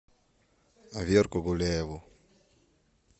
верку гуляеву